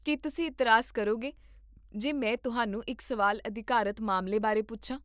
ਕੀ ਤੁਸੀਂ ਇਤਰਾਜ਼ ਕਰੋਗੇ ਜੇ ਮੈਂ ਤੁਹਾਨੂੰ ਇੱਕ ਸਵਾਲ ਅਧਿਕਾਰਤ ਮਾਮਲੇ ਬਾਰੇ ਪੁੱਛਾਂ?